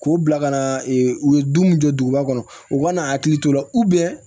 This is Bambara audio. K'o bila ka na u ye don min jɔ duguba kɔnɔ u ka n'a hakili t'o la